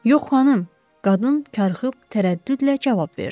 Yox xanım, qadın karxıb tərəddüdlə cavab verdi.